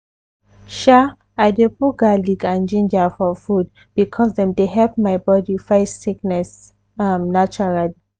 sha i dey put garlic and ginger for food because dem dey help my body fight sickness um naturally.